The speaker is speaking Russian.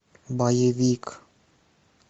боевик